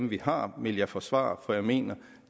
vi har vil jeg forsvare for jeg mener